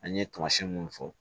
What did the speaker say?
An ye tamasiyɛn munnu fɔ